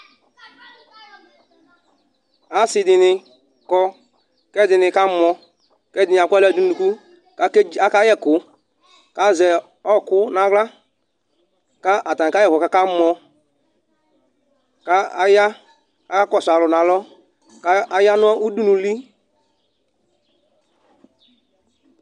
ase di ni kɔ ko ɛdi ni ka mɔ ko ɛdi ni akɔ ala do no unuku ko aka yɛ ɛko ko azɛ ɔko no ala ko atani kayɛ ɛko ko aka mɔ ko aya ko aka kɔso alo no alɔ ko aya no udunu li